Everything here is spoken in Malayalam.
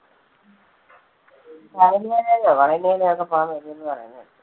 ശബരിമലയിലോ പളനിയിലൊ ഒക്കെ പോകാൻ വരൂന്ന് പറയുന്ന കേട്ടു.